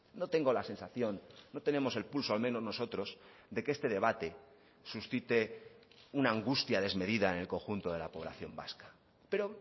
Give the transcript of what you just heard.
no tengo la sensación no tenemos el pulso al menos nosotros de que este debate suscite una angustia desmedida en el conjunto de la población vasca pero